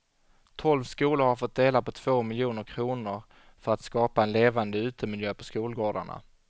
Tolv skolor har fått dela på två miljoner kronor för att skapa en levande utemiljö på skolgårdarna.